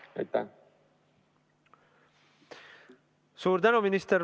Suur tänu, minister!